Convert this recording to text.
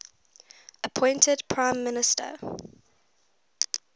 appointed prime minister